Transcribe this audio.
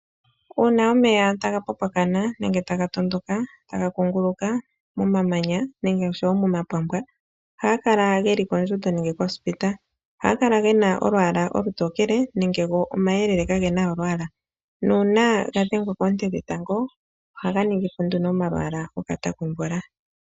Uuna omeya taga popoka nenge taga tondoka nenge taga kunguluka, momamanya nenge oshowo momapampwa, ohaga kala geli mondjundo nenge mondapo. Ohaga kala molwaala olutokele nenge omayelele kage na olwaala. Nuuna ga dhengwa koonte dhetango ohaga ningi po nduno omalwaala gokata komvula.